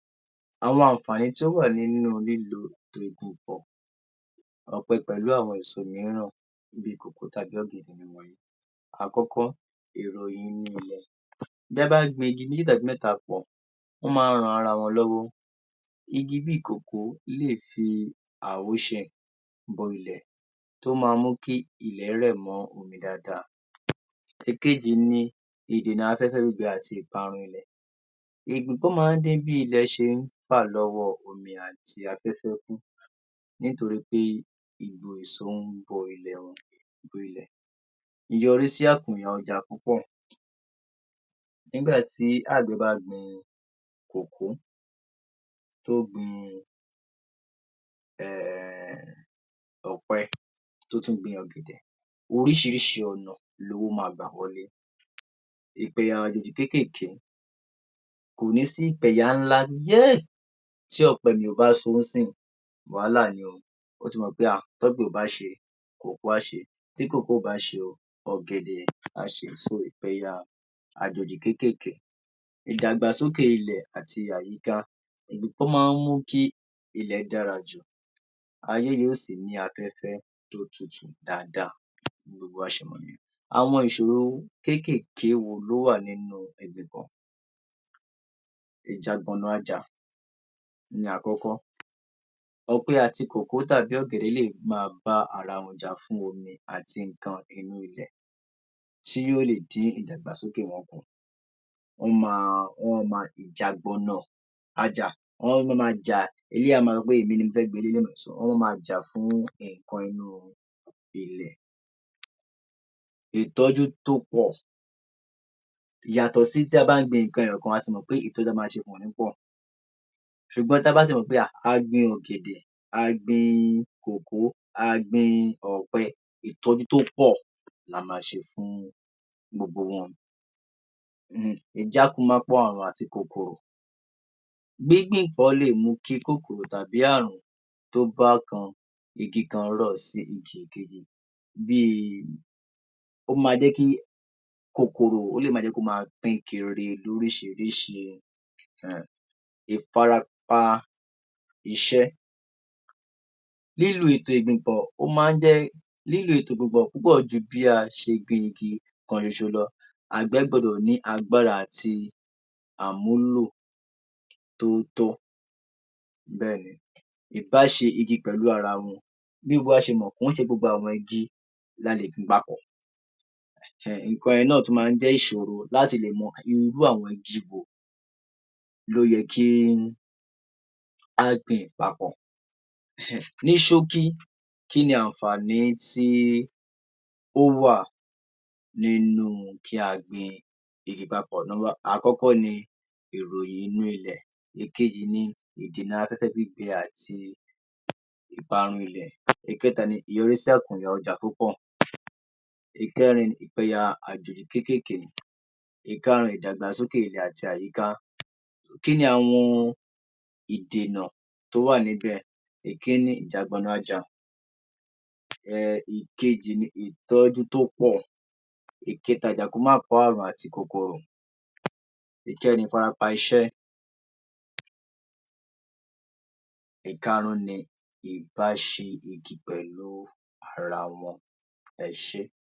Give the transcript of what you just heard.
Àwọn àǹfàní tó wà nínú lílo ọ̀pẹ pẹ̀lú àwọn èso mìíràn bí i kòkó tàbí ọ̀gẹ̀dẹ̀. Àkọ́kọ́, bí a bá gbin igi méjì tàbí mẹ́ta pọ̀, ó máa ń ran ara wọn lọ́wọ́. Igi bí i kòkó lè fi bọ ilẹ̀ tó máa mú kí ilẹ̀ rẹ̀ mọ́ omi dáadáa. Èkejì ni ìdènà afẹ́fẹ́ gbígbẹ àti ìparun ilẹ̀ nítorí pé yọrí sí àkùnà ọjà púpọ̀. Nígbà tí àgbẹ̀ bá gbin kòkó tó gbin um ọ̀pẹ tó tún gbin ọ̀gẹ̀dẹ̀ oríṣiríṣi ọ̀nà lowó máa gbà wọlé kékèèké kò ní sí um tí ọ̀pẹ mi ò bá so ńísìnyí wàhálà ni o. Ó ti mọ̀ pé um t’ọpẹ ò bá ṣe kòkó á ṣe, tí kòkó ò bá ṣe ọ̀gẹ̀dẹ̀ á ṣe so bóyá àjòjì kékèké. Ìdàgbàsókè ilẹ̀ àti àyíká ó máa ń mú kí ilẹ̀ dára jù yóò sì ní àfẹ́fẹ́ tó tutù dáadáa bí gbogbo wa ṣe. Àwọn ìṣòro kékèké wo ló wà nínú àkọ́kọ́, ọ̀pẹ àti kòkó dà bí lè máa bá ara wọn jà fún omi àti nǹkan inú ilẹ̀ tí ó lè dín ìdàgbàsókè wọn kù. Wọ́n máa, wọ́n máa ma um wọ́n máa ma jà, eléyìí á máa sọ pé èmi ni mo fẹ́ gba eléyìí so wọ́n máa ma jà fún nǹkan inú ilẹ̀. Ìtọ́jú tó pọ̀ yàtọ̀ sí tí a bá ń gbin nǹkan ẹyọ kan a ti mọ̀ pé ṣùgbọ́n tí a bá ti mọ̀ pé um a gbin ọ̀gẹ̀dẹ̀, a gbin kòkó, a gbin ọ̀pẹ ìtọ́jú tó pọ̀ la máa ṣe fún gbogbo wọn àti kòkòrò. Gbíngbìn nǹkan lè mú kí kòkòrò tàbí ààrùn tó bákan igi kan ràn sí igi kejì bí i ó máa jẹ́ kí kòkòrò ó lè máa jẹ́ kí ó máa pín kiri lóríṣiríṣi um. Ìfarapa iṣẹ́, lílo ètò ìgbìnpọ̀ ó máa ń jẹ́ lílo ètò ìgbìnpọ̀ púpọ̀ ju bí a ṣe gbin igi kan ṣoṣo lọ. Àgbẹ̀ gbúdọ̀ ní agbára àti àmúlò tó tọ́ bẹ́ẹ̀ ni ì báa ṣe igi pẹ̀lú ara wọn. Bí gbogbo wa ṣe mọ̀, kì í ṣe gbogbo àwọn igi ni a lè gbìn papọ̀ um nǹkan yẹn náà tún máa ń jẹ́ ìṣòro láti lè mọ irú àwọn igi wo ló yẹ kí á gbìn papọ̀. um ní ṣókí, kí ni àǹfàní tí ó wà nínú kí a gbin igi papọ̀ number àkọ́kọ́ ni, ìròyìn inú ilẹ̀, èkejì ni ìdènà afẹ́fẹ àti ìparun ilẹ̀, ẹkẹta ni, ìkẹrin ìpinyà àjòjì kékéèké, ìkarùn ìdàgbàsókè ilẹ̀ àti àyíká. Kí ni àwọn ìdènà tó wà níbẹ̀? Ìkinni ], um ìkejì ni ìtọ́jú tó pọ̀, ìkẹta, ìkẹrin ìfarapa iṣẹ́, ìkarùn ni ìbáṣe igi pẹ̀lú ara wọn. ẹ ṣé.